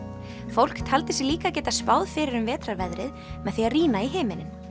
fólk taldi sig líka geta spáð fyrir um vetrarveðrið með því að rýna í himininn